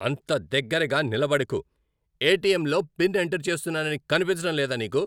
అంత దగ్గరగా నిలబడకు! ఎటిఎంలో పిన్ ఎంటర్ చేస్తున్నానని కనిపించడం లేదా నీకు?